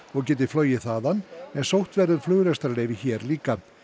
og geti flogið þaðan en sótt verði um flugrekstrarleyfi hér líka